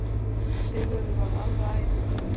Sigurður varð alveg æfur.